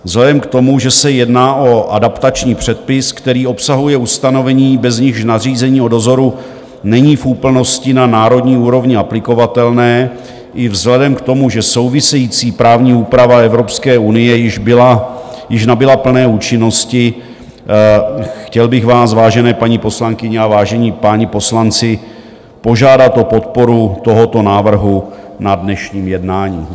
Vzhledem k tomu, že se jedná o adaptační předpis, který obsahuje ustanovení, bez nichž nařízení o dozoru není v úplnosti na národní úrovni aplikovatelné, i vzhledem k tomu, že související právní úprava Evropské unie již nabyla plné účinnosti, chtěl bych vás, vážené paní poslankyně a vážení páni poslanci, požádat o podporu tohoto návrhu na dnešním jednání.